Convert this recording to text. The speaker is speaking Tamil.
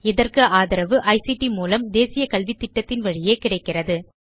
இதற்கு ஆதரவு ஐசிடி மூலம் தேசிய கல்வித்திட்டத்தின் வழியே கிடைக்கிறது